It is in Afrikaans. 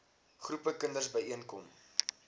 groepe kinders byeenkom